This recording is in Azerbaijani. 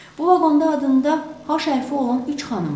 Bu vaqonda adında H hərfi olan üç xanım var.